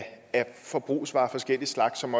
forbrugsvarer af forskellig slags som